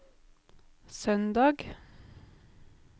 søndag